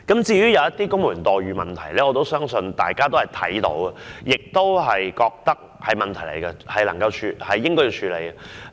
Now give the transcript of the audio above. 至於公務員待遇的問題，我相信大家皆留意到，亦認為應該加以處理。